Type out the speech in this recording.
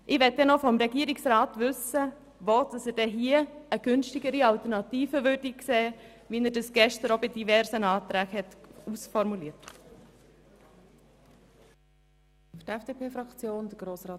Ich möchte vom Regierungsrat wissen, wo er eine günstigere Alternative sieht, wie er das gestern bei verschiedenen Anträgen auch aufgezeigt hat.